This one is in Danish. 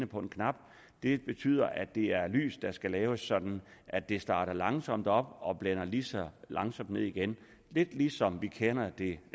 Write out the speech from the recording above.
på en knap og det betyder at det er lys der skal laves sådan at det starter langsomt op og blænder lige så langsomt ned igen lidt ligesom vi kender det